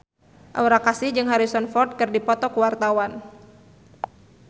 Aura Kasih jeung Harrison Ford keur dipoto ku wartawan